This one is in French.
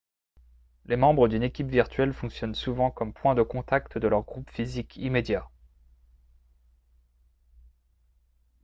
les membres d'une équipe virtuelle fonctionnent souvent comme point de contact de leur groupe physique immédiat